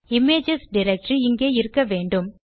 images directory இங்கே இருக்க வேண்டும்